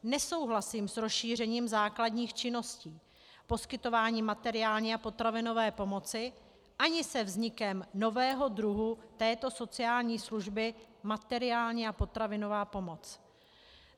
Nesouhlasím s rozšířením základních činností poskytování materiální a potravinové pomoci ani se vznikem nového druhu této sociální služby - materiální a potravinová pomoc.